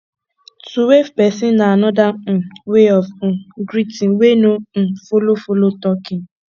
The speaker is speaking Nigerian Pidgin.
to wave person na anoda um wey of um greeting wey no um follow follow talking